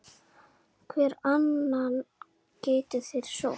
Hvern annan gætu þeir sótt?